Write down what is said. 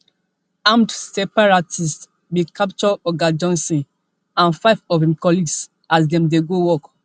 armed separatists bin capture oga johnson and five of im colleagues as dem dey go work